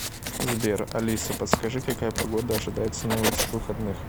сбер алиса подскажи какая погода ожидается на этих выходных